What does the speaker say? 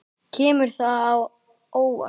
Kemur það á óvart?